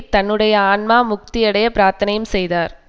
தன்னுடைய ஆன்மா முக்தியடைய பிரார்த்தனையும் செய்தார்